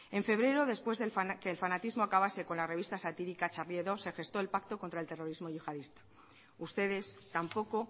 en febrero después de que el fanatismo acabase con la revista satírica charlie hebdo se gestó el pacto contra el terrorismo yihadista ustedes tampoco